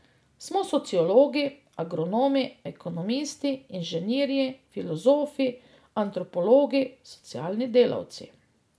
Smo sociologi, agronomi, ekonomisti, inženirji, filozofi, antropologi, socialni delavci.